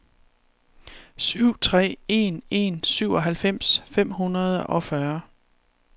syv tre en en syvoghalvfems fem hundrede og fyrre